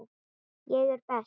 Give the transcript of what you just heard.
Ég er best.